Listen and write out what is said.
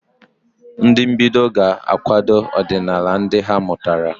Ndị mbido ga-akwado ọdịnala ndị ha mụtara.